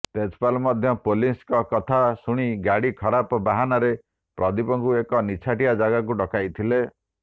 ତେଜପାଲ ମଧ୍ୟ ପୋଲିସଙ୍କ କଥା ଶୁଣି ଗାଡି ଖରାପ ବାହାନାରେ ପ୍ରଦୀପଙ୍କୁ ଏକ ନିଛାଟିଆ ଯାଗାକୁ ଡକାଇଥିଲେ